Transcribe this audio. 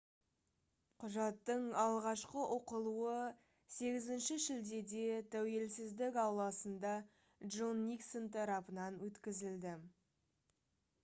құжаттың алғашқы оқылуы 8 шілдеде тәуелсіздік ауласында джон никсон тарапынан өткізілді